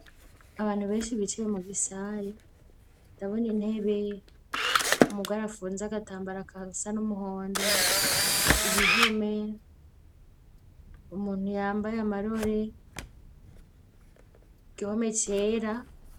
Abantu benshi bicaye mu gisare, dabona intebe umugore apfunz' agatambara gasa n'umuhondo, ibihome ,umuntu yambaye amarore, gihome cera.